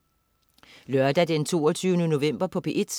Lørdag den 22. november - P1: